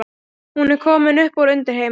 Hún var komin upp úr undirheimunum.